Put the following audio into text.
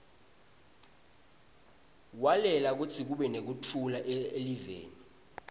walwela kutsi kube nektfula eliveni